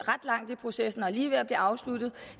langt i processen og er lige ved at blive afsluttet